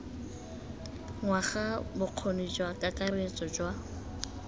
ngwaga bokgoni jwa kakaretso jwa